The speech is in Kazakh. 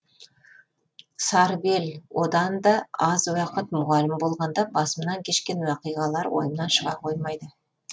сарыбел одан да аз уақыт мұғалім болғанда басымнан кешкен уақиғалар ойымнан шыға қоймайды